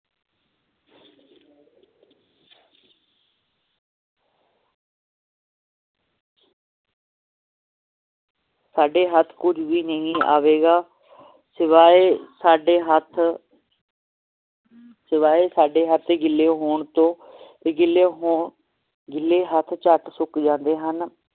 ਸਾਡੇ ਹੱਥ ਕੁਜ ਵੀ ਨਹੀਂ ਆਵੇਗਾ ਸਿਵਾਏ ਸਾਡੇ ਹੱਥ ਸਿਵਾਏ ਸਾਡੇ ਹੱਥ ਗਿਲੇ ਹੋਣ ਤੋਂ ਗਿੱਲੇ ਹੋਣ ਗਿੱਲੇ ਹੱਥ ਝੱਟ ਸੁਖ ਜਾਂਦੇ ਹਨ।